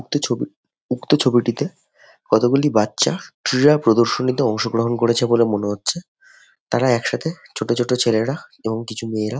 একটা ছবি উক্ত ছবিটিতে কতগুলি বাচ্চা ক্রীড়া প্রদর্শনীতে অংশগ্রহণ করেছে বলে মনে হচ্ছে তাঁরা একসাথে ছোট ছোট ছেলেরা এবং কিছু মেয়েরা --